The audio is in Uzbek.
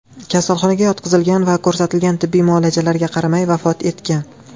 kasalxonaga yotqizilgan va ko‘rsatilgan tibbiy muolajalarga qaramay vafot etgan.